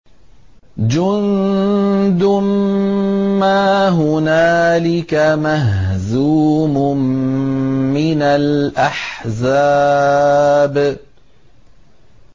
جُندٌ مَّا هُنَالِكَ مَهْزُومٌ مِّنَ الْأَحْزَابِ